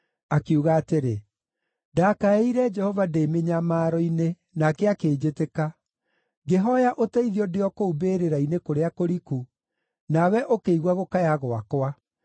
Akiuga atĩrĩ: “Ndakaĩire Jehova ndĩ mĩnyamaro-inĩ, nake akĩnjĩtĩka. Ngĩhooya ũteithio ndĩ o kũu mbĩrĩra-inĩ kũrĩa kũriku, nawe ũkĩigua gũkaya gwakwa.